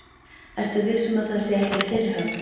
Ertu viss um að það sé ekki fyrirhöfn?